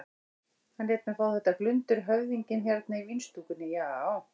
Hann lét mig fá þetta glundur höfðinginn hérna í vínstúkunni, já.